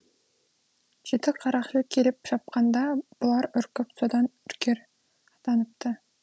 жеті қарақшы келіп шапқанда бұлар үркіп содан үркер атаныпты